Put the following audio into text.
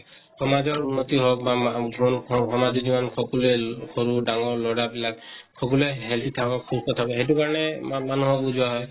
সমাজৰ উন্নতি হৌক বা মা ব সামাজিক জীৱন সকলোৱে, সৰু, ডাঙৰ লʼৰা বিলাক সকলোৱে healthy থাকক, সুস্থ থাকক, সেই কাৰণে মানুহক বোজোৱা হয় ।